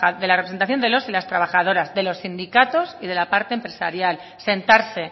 de la representación de los y las trabajadoras de los sindicatos y de la parte empresarial sentarse